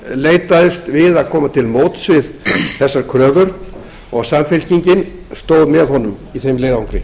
leitaðist við að koma til móts við þessar kröfur og samfylkingin stóð með honum í þeim leiðangri